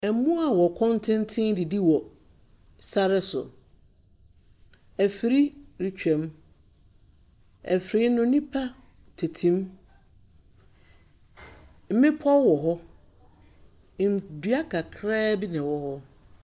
Mmoa a wɔn kɔn teenten redidi wɔ sar so. Afiri retwam. Afiri no nnipa tete mu. Mmepɔw wɔ hɔ. Ndua kakraa bi na ɛwɔ hɔ.